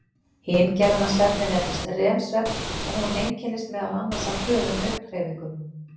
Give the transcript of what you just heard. Hin gerðin af svefni nefnist REM-svefn og hún einkennist meðal annars af hröðum augnhreyfingum.